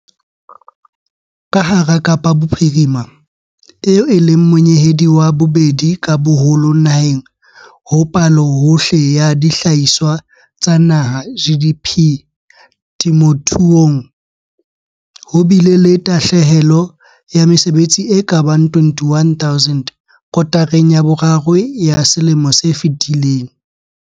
Ka hara Kapa Bophirima, eo e leng monyehedi wa bobedi ka boholo naheng ho Palohohle ya Dihlahiswa tsa Naha, GDP, temothuong, ho bile le tahle helo ya mesebetsi e ka bang 21 000 kotareng ya boraro ya selemo se fetileng.